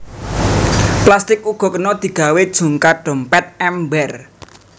Plastik uga kena digawé jungkat dompét ember